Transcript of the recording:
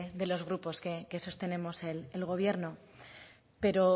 de los grupos que sostenemos el gobierno pero